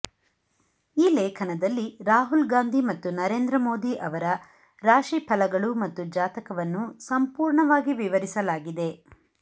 ಈ ಲೇಖನದಲ್ಲಿ ರಾಹುಲ್ ಗಾಂಧಿ ಮತ್ತು ನರೇಂದ್ರ ಮೋದಿ ಅವರ ರಾಶಿಫಲಗಳು ಮತ್ತು ಜಾತಕವನ್ನು ಸಂಪೂರ್ಣವಾಗಿ ವಿವರಿಸಲಾಗಿದೆ